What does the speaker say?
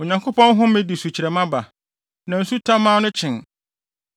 Onyankopɔn home de sukyerɛmma ba, na nsu tamaa no kyen.